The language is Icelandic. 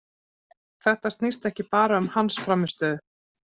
Þetta snýst ekki bara um hans frammistöðu.